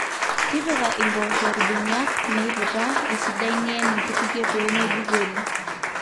tipika impoosho irbeniak meiputa esidai nien inkutukie pee meibukori